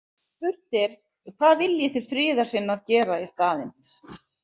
Spurt er: „hvað viljið þið friðarsinnar gera í staðinn“?